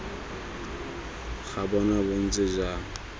ga bona bo ntse jang